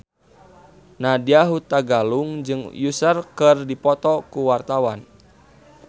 Nadya Hutagalung jeung Usher keur dipoto ku wartawan